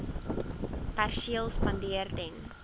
perseel spandeer ten